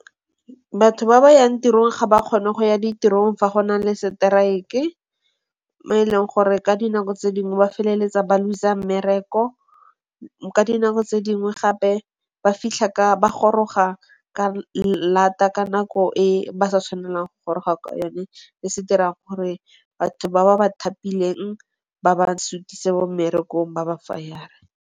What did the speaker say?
Batho ba ba yang tirong ga ba kgone go ya ditirong fa go na le strike-e. Mo e leng gore ka dinako tse dingwe ba feleletsa ba loser mmereko. Ka dinako tse dingwe gape ba goroga ka lata ka nako e ba sa tshwanelang go goroga ka yone. Se se dirang gore batho ba ba bathapileng ba ba sutise bo mmerekong ba ba fayare.